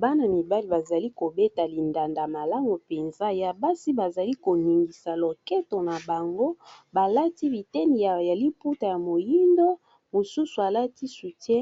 bana-mibali bazali kobeta lindanda malamu mpenza ya basi bazali koningisa loketo na bango balati biteni ya liputa ya moindo mosusu alati soutie